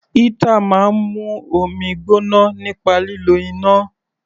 Heater máa ń mú omi gbóná nípa lílo iná.